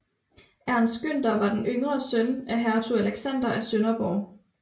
Ernst Günther var en yngre søn af hertug Alexander af Sønderborg